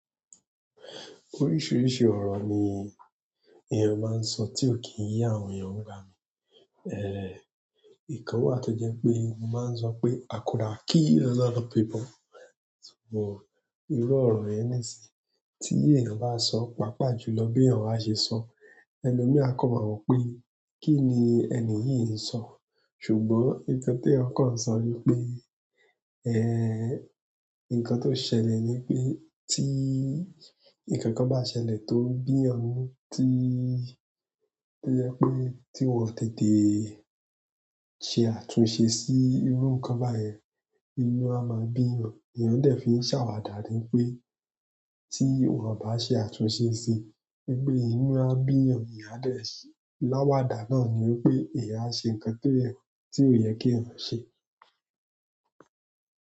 Oríṣiríṣi ọ̀rọ̀ ni èèyàn máa ń sọ tí ó kì í yé àwọn èèyàn nigbami. Ikan wà tó jẹ́ pé mo máa ń sọ pé "I coulda kill a lot of people". But irú ọ̀rọ̀ yẹn níṣe tí èèyàn bá sọ, pàápàá jùlọ bí èèyàn bá ṣe sọ, elomi a kan ma wo pé kíni ẹni yìí ń sọ. Ṣùgbọ́n nǹkan tí eeyan kań sọ ní pé, nǹkan tó ṣẹlẹ̀ ni pé tí nǹkan bá ṣẹlẹ̀ tó bí eeyan nínú, tí ó jẹ́ pé tí wọ́n o tètè ṣe àtúnṣe sí irú nǹkan báyìí, inú a máa bí èèyàn. Èèyàn dẹ̀ fi ń ṣàwàdà dáń ní pé tí wọ́n ò bá ṣe àtúnṣe sí wípéinú a bí èèyàn, èèyàn a dẹ̀ sí i. Láwàdà náà ni ó pé èèyàn á ṣe nǹkan ti ó yẹ kéèyàn ṣe.